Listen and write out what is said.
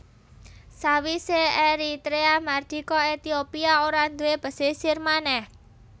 Sawisé Eritrea mardika Etiopia ora nduwé pesisir manèh